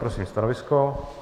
Prosím stanovisko.